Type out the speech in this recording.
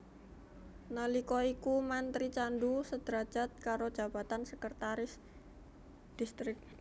Nalika iku mantri candu sederajat karo jabatan Sekretaris Distrik